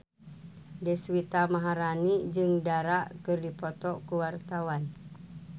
Deswita Maharani jeung Dara keur dipoto ku wartawan